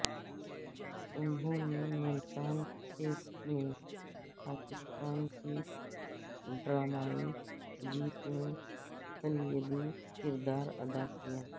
انہوں نے ملتان ٹیسٹ میں پاکستان کی ڈرامائی جیت میں کلیدی کردار ادا کیا